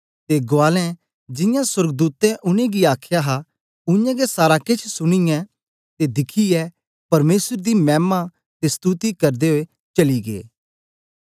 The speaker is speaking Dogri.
ते गुआलें जियां सोर्गदूतें उनेंगी आख्या हा उयांगै सारा केछ सुनीयै ते दिखियै परमेसर दी मैमा ते स्तुति करदे ओई चली गै